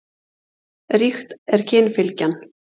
Ríkt er kynfylgjan.